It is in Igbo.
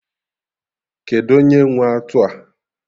Kedụ onye nwe atụ a?